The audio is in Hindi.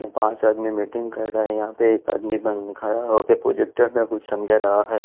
पांच आदमी मीटिंग कर रहा हैं यहां पे एक आदमी बंद खड़ा हो के प्रोजेक्टर में कुछ समझ रहा है।